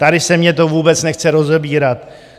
Tady se mně to vůbec nechce rozebírat.